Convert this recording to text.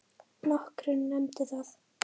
Nokkrir nefndu það.